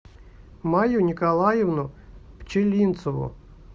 майю николаевну пчелинцеву